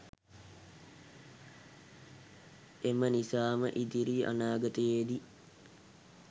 එම නිසාම ඉදිරි අනාගතයේදී